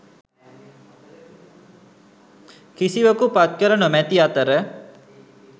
කිසිවකු පත්කර නොමැති අතර